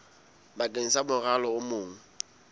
bakeng sa morwalo o mong